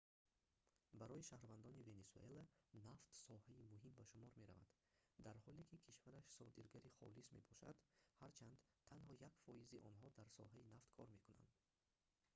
барои шаҳрвандони венесуэла нафт соҳаи муҳим ба шумор меравад дар ҳоле ки кишвараш содиргари холис мебошад ҳарчанд танҳо 1%-и онҳо дар соҳаи нафт кор мекунанд